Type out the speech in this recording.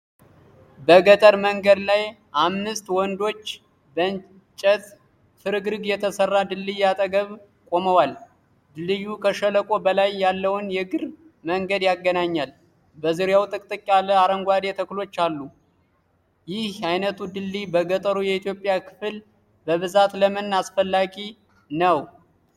በገጠር መንገድ ላይ፣ አምስት ወንዶች በእንጨት ፍርግርግ የተሰራ ድልድይ አጠገብ ቆመዋል። ድልድዩ ከሸለቆ በላይ ያለውን የእግር መንገድ ያገናኛል። በዙሪያው ጥቅጥቅ ያለ አረንጓዴ ተክሎች አሉ። ይህ አይነቱ ድልድይ በገጠሩ የኢትዮጵያ ክፍል በብዛት ለምን ተፈላጊ ነው?